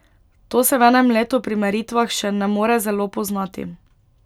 To se v enem letu pri meritvah še ne more zelo poznati.